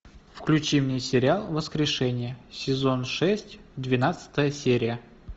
включи мне сериал воскрешение сезон шесть двенадцатая серия